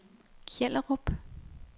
Kjellerup